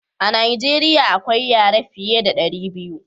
a najeriya akwai yare fiya da dari biyu